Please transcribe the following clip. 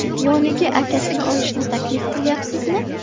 Yoniga akasini olishni taklif qilyapsizmi?